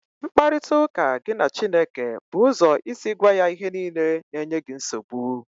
Mkparịta ụka gị na Chineke bụ ụzọ isi gwa ya ihe niile na-enye gị nsogbu